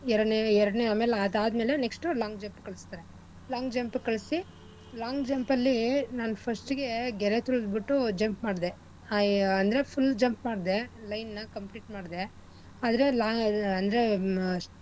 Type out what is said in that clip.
ಎರ್ಡ್ನೆ ಎರ್ಡ್ನೆ ಆಮೇಲೆ ಅದ್ ಆದ್ಮೇಲೆ next long jump ಗ್ ಕಳ್ಸ್ತಾರೆ long jump ಕಳ್ಸಿ long jump ಅಲ್ಲಿ ನಾನ್ first ಇಗೆ ನಾನು ಗೆರೆ ತುಳ್ದ್ಬಿಟು jump ಮಾಡ್ದೆ ಆ ಅಂದ್ರೆ full jump ಮಾಡ್ದೆ line ನ complete ಮಾಡ್ದೆ ಆದ್ರೆ ಲ ಅಂದ್ರೆ,